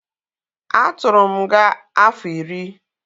A tụrụ m nga afọ iri